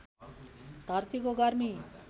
धरतीको गर्मी